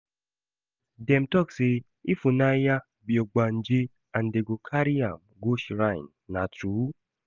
Dem talk say Ifunanya be ogbanje and dem go carry am go shrine, na true?